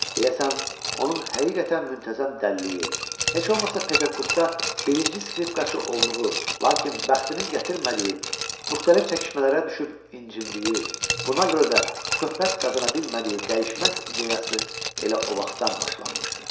Deyəsən, onun həqiqətən müntəzəm dəliliyi, heç olmasa Peterburqda birinci skripkaçı olduğu, lakin bəxtinin gətirmədiyi, müxtəlif çəkişmələrə düşüb incindiyi, buna görə də şöhrət qazana bilmədiyi dəyişməz ideyası elə o vaxtdan başlanmışdı.